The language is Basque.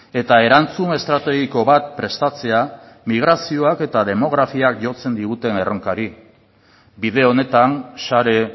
eta erantzun estrategiko bat prestatzea migrazioak eta demografiak jotzen diguten erronkari bide honetan share